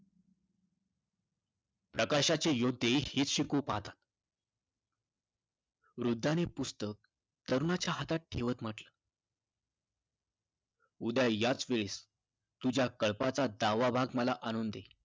प्रकाशाचे योद्धे हेच शिकवू पहातात. वृद्धाने पुस्तक तरुणाच्या हातात ठेवत म्हटलं, उद्या याच वेळेस तुझ्या कळपाचा दहावा भाग मला आणून दे.